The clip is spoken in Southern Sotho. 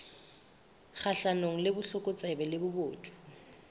kgahlanong le botlokotsebe le bobodu